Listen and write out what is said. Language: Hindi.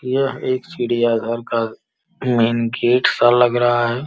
यह एक चिड़िया घर का मेन गेट सा लग रहा है।